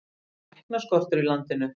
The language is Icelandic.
Þá var læknaskortur í landinu.